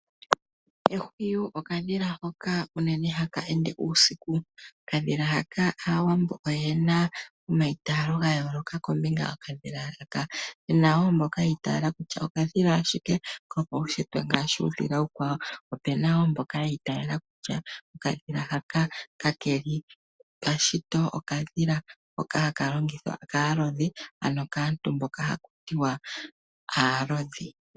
Ehwiyi okadhila hoka haka ende uunene uusiku. Okandhila haka aawambo yena omaitalo gayooloka kombinga yokandhila haka puna mboka yiitala kutya okadhila ashike kopaushitwe kafa uudhila uukwawo, po puna mboka yiitala kutya okandhila ka keli pashito, okadhila hoka haka longithwa kaalodhi ano kaantu mboka haku tiwa aalodhi